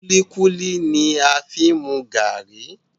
Kulikuli ni a fi n mu garri.